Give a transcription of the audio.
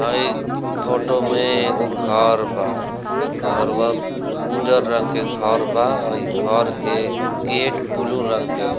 हई फोटो में एगो घर बा घरवा उजर रंग के घर बा अई घर के गेट बुलु रंग के बा।